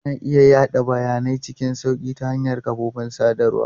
Ana iya yada bayanai cikin sauƙi ta hanyar kafofin sadarwa.